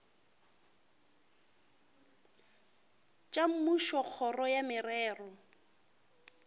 tša mmušo kgoro ya merero